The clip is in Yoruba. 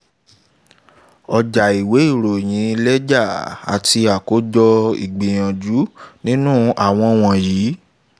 ọjàìwé ìròyìn lẹ́jà àti àkójọ ìgbìyànjú nínú àwọn wọ̀nyí